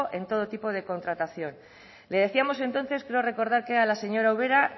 en todo tipo de contratación le decíamos entonces creo recordar que era a la señora ubera